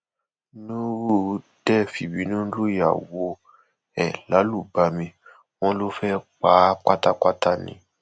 nurudee fìbínú lùyàwó ẹ lálùbami wọn ló fẹẹ pa á á pátápátá ni